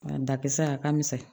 A dakisɛ a ka misɛn